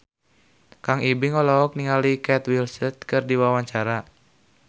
Kang Ibing olohok ningali Kate Winslet keur diwawancara